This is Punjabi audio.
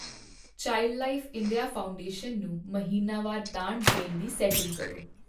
ਚਾਈਲਡਲਾਈਨ ਇੰਡੀਆ ਫਾਊਂਡੇਸ਼ਨ ਨੂੰ ਮਹੀਨਾਵਾਰ ਦਾਨ ਦੇਣ ਦੀ ਸੈਟਿੰਗ ਕਰੋ।